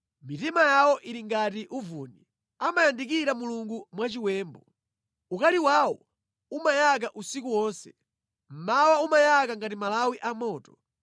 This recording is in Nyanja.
Mitima yawo ili ngati uvuni; amayandikira Mulungu mwachiwembu. Ukali wawo umanyeka usiku wonse, mmawa umayaka ngati malawi a moto.